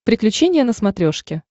приключения на смотрешке